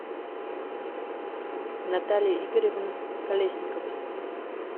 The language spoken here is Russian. натальи игоревны колесниковой